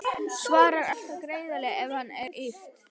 Svarar alltaf greiðlega ef á hana er yrt.